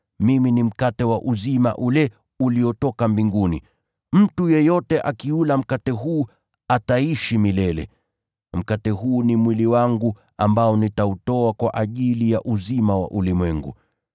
Mimi ni mkate wa uzima ule uliotoka mbinguni. Mtu yeyote akiula mkate huu, ataishi milele. Mkate huu ni mwili wangu, ambao nitautoa kwa ajili ya uzima wa ulimwengu.”